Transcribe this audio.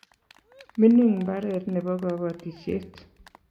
mining mbaret nebo kabatisiet